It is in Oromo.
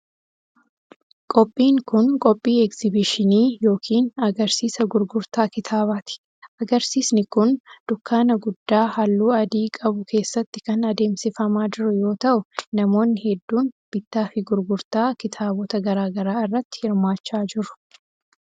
Qophiin kun, qophii egzibiishinii yokin agarsiisa gurgurtaa kitaabaati. Agarsiisni kun, dukkaana guddaa haalluu adii qabu keessatti kan adeemsifamaa jiru yoo ta'u, namoonni hedduun bittaa fi gurgurtaa kitaabota garaa garaa irratti hirmaachaa jiru.